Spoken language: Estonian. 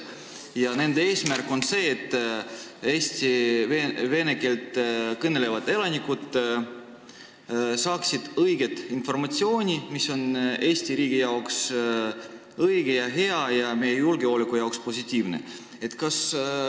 Nende eesmärk on see, et Eesti vene keelt kõnelevad elanikud saaksid positiivset informatsiooni, mis on meie riigi ja julgeoleku seisukohalt õige ja hea.